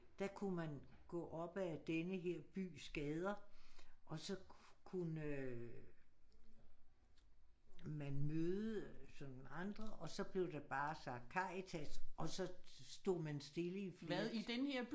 Der kunne man gå op ad denne her bys gader og så kunne man møde sådan andre og så blev der bare sagt Karitas og så stod man stille i flere